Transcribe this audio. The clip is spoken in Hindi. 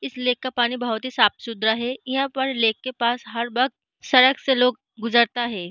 इस लेक का पानी बहुत ही साफ सुथरा है। यहाँ पर लेक के पास हर बक्त सड़क से लोग गुजरता है।